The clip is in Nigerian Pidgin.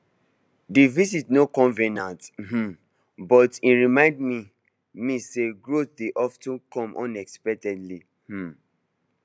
the visit no convenient um but e remind me me say growth dey of ten come unexpectedly um